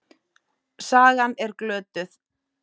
Sagan er glötuð.